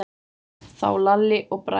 Þá Lalli og Bragi.